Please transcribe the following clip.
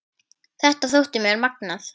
Þetta þótti mér magnað.